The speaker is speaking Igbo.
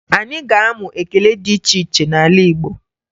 Anyị ga-amụ ekele dị iche iche n'ala Igbo